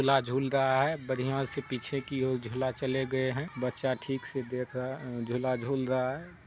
झूला झूल रहा है बढ़िया से पीछे की ओर झूला चले गए है बच्चा ठीक से देख रहा अ झूला झूल रहा है।